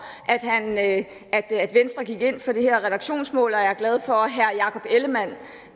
at venstre gik ind for det her reduktionsmål og jeg er glad for at herre jakob ellemann